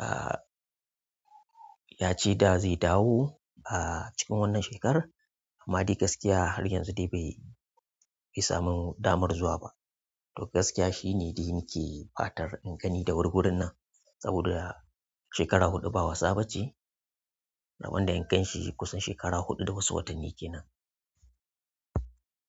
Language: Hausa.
A yace da zai dawo a cikin wannan shekarar amma dai gaskiya har yanzu dai bai bai samun damar zuwa ba. To gaskiya shi ne dai nake fatar in gani da wur wurin nan saboda shekara huɗu ba wasa bace rabon da in gan shi kusan shekara huɗu da wasu watanni kenan.